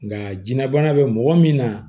Nka jiyɛnlabana bɛ mɔgɔ min na